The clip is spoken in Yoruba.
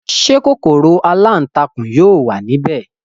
Ṣé kòkòrò aláǹtakùn yóò wà ní ibẹ̀?